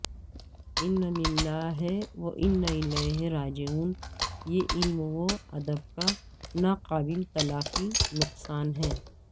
انا لللہ واناالیہ راجعون یہ علم و ادب کا نا قابل تلافی نقصان ہے